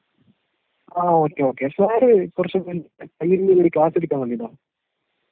ങാ.. okay okay ... sir കുറച്ച് മുന്നേ പയ്യന്നൂര്‍ ഒരു ക്ലാസ് എടുക്കാൻ വന്നിരുന്നോ?